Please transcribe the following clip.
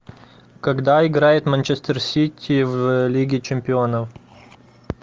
когда играет манчестер сити в лиге чемпионов